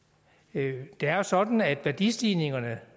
det er jo sådan at værdistigningerne